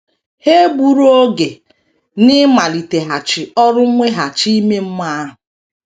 Ha egburu oge n’ịmaliteghachi ọrụ mweghachi ime mmụọ ahụ.